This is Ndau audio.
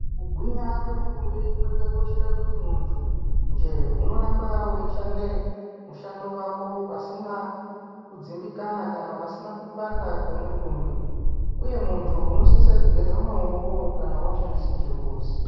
Kugwinya kwemutumbi kwakoshera kuti muntu nje unorambe weyishande mushando wako pasina kudzimbikana kana pasina kupanda kwemitumbi, uye muntu unosise kugeza mawoko kana washandise chimbuzi.